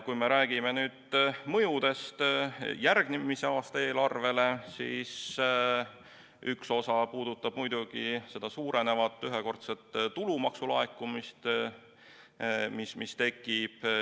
Kui me räägime nüüd mõjudest järgmise aasta eelarvele, siis üks osa puudutab muidugi seda suurenevat ühekordset tulumaksu laekumist, mis tekib.